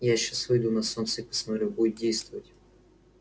я сейчас выйду на солнце и посмотрю будет действовать